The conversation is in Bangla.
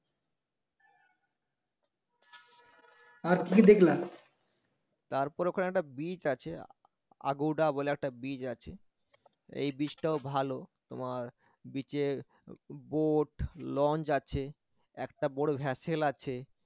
আর কি কি দেখলা তারপরে ওখানে একটা beach আছে বলে একটা beach আছে। এই beach টাও ভালো তোমার beach এ boat launch আছে একটা বড় vassel আছে